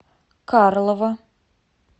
карлова